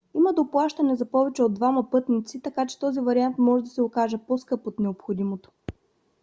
има доплащане за повече от двама пътници така че този вариант може да се окаже по-скъп от необходимото